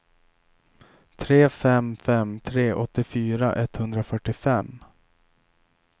tre fem fem tre åttiofyra etthundrafyrtiofem